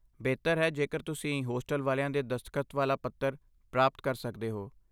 ਬਿਹਤਰ ਹੈ ਜੇਕਰ ਤੁਸੀਂ ਹੋਸਟਲ ਵਾਲਿਆਂ ਦੇ ਦਸਤਖਤ ਵਾਲਾ ਪੱਤਰ ਪ੍ਰਾਪਤ ਕਰ ਸਕਦੇ ਹੋ।